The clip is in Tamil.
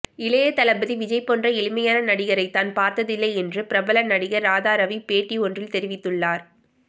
இளையதளபதி விஜய் போன்ற எளிமையான நடிகரை தான் பார்த்ததில்லை என்று பிரபல நடிகர் ராதாரவி பேட்டி ஒன்றில் தெரிவித்துள்ளார்